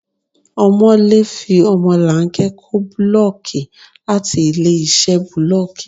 Ọmọ̀lé fi ọmọlanke kó búlọ́ọ́kì láti ilé-iṣẹ́ bulooki.